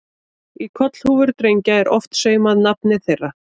Í kollhúfur drengja er oft saumað nafnið þeirra.